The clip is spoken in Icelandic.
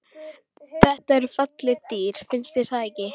Þetta eru falleg dýr, finnst þér ekki?